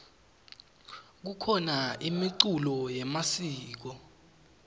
kukhona imiculo yemasiko